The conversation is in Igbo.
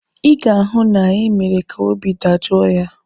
Ị ga-ahụ na ị mere ka obi dajoo ya!